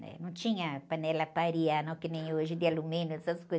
né? Não tinha panela para arear, não, que nem hoje, de alumínio, essas coisas.